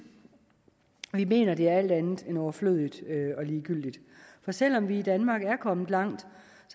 men vi mener at det er alt andet end overflødigt og ligegyldigt for selv om vi i danmark er kommet langt